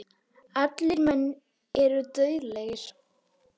Allir menn eru dauðlegir.